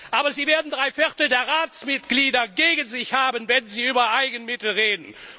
Aber Sie werden drei Viertel der Ratsmitglieder gegen sich haben, wenn Sie über Eigenmittel reden.